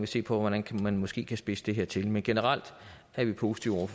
se på hvordan man måske kan spidse det her til men generelt er vi positive